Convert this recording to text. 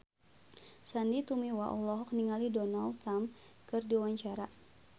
Sandy Tumiwa olohok ningali Donald Trump keur diwawancara